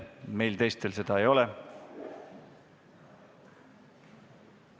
Meil teistel seda võimalust ei ole.